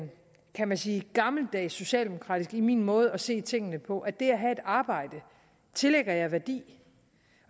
kan man sige gammeldags socialdemokratisk i min måde at se tingene på at det at have et arbejde tillægger jeg værdi